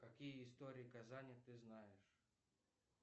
какие истории казани ты знаешь